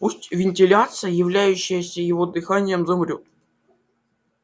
пусть вентиляция являющаяся его дыханием замрёт